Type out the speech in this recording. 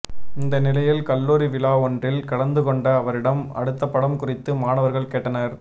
இந்த நிலையில் கல்லூரி விழா ஒன்றில் கலந்துகொண்ட அவரிடம் அடுத்தப்படம் குறித்து மாணவர்கள் கேட்டனர்